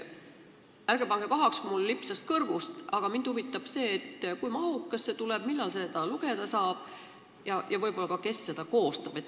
Ärge pange pahaks, mul lipsas see vist kõrvust mööda, aga mind huvitab, kui mahukas see tuleb, millal seda lugeda saab ja võib-olla ka, kes seda koostab.